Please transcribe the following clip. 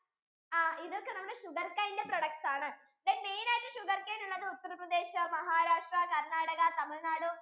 ആ ഇതൊക്കെ നമ്മുടെ sugarcane ന്റെ products ആണ്, then main ആയിട്ടു sugarcane ഉള്ളത് ഉത്തർപ്രദേശ് മഹാരാഷ്ട്ര കർണാടക തമിഴ്നാട്